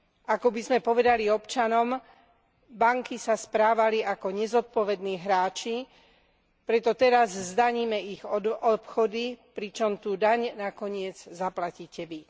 Akoby sme povedali občanom Banky sa správali ako nezodpovední hráči, preto teraz zdaníme ich obchody, pričom tú daň nakoniec zaplatíte vy..